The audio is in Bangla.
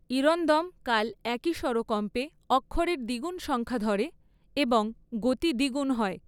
ইরন্দম কাল একই স্বরকম্পে অক্ষরের দ্বিগুণ সংখ্যা ধরে, এবং গতি দ্বিগুণ হয়।